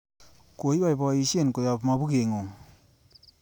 Koiboishen koyob mokubeng'ung.